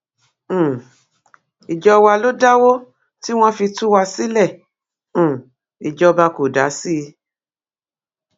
um ìjọ wa ló dáwó tí wọn fi tú wa sílé um ìjọba kò dá sí i